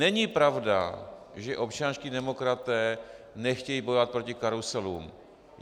Není pravda, že občanští demokraté nechtějí bojovat proti karuselům.